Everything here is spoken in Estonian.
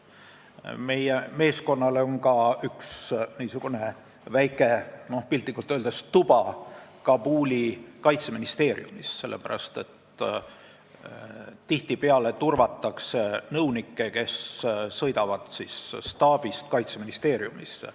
Meie meeskonnal on piltlikult öeldes ka üks väike tuba Kabuli kaitseministeeriumis, sellepärast et tihtipeale turvatakse nõunikke, kes sõidavad staabist kaitseministeeriumisse.